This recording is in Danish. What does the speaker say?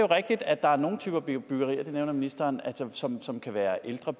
rigtigt at der er nogle typer byggerier og det nævner ministeren som som kan være ældre